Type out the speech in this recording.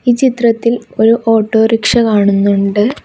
ഈ ചിത്രത്തിൽ ഒരു ഓട്ടോറിക്ഷ കാണുന്നുണ്ട്.